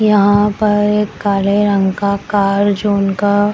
यहाँ पर एक काले रंग का कार जो उनका --